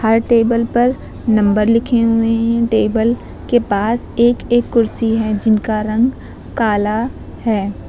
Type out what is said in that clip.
हर table पर number लिखे हुए हैं टेबल के पास एक एक कुर्सी है जिनका रंग काला है।